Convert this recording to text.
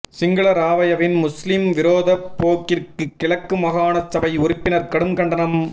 சிங்கள ராவயவின் முஸ்லிம் விரோத போக்கிற்கு கிழக்கு மாகாண சபை உறுப்பினர் கடும் கண்டனம்